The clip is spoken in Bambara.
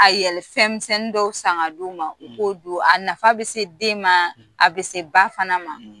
A yɛlɛ fɛn misenin dɔw sanga d'o ma; o k'o doo a nafa bɛ se den ma; a bɛ se ba fana ma;